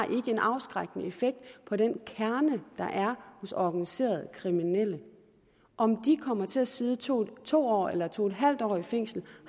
en afskrækkende effekt på den kerne der er hos organiserede kriminelle om de kommer til at sidde to to år eller to en halv år i fængsel